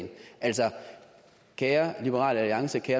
det er